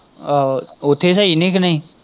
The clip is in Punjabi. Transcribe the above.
ਆਹੋ ਉੱਥੇ ਸਹੀ ਨਹੀਂ ਤੈਨੂੰ।